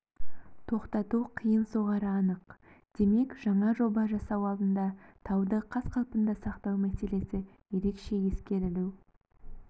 тоқтату қиын соғары анық демек жаңа жоба жасау алдында тауды қаз-қалпында сақтау мәселесі ерекше ескерілу